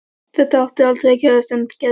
Þetta átti aldrei að gerast en gerðist samt.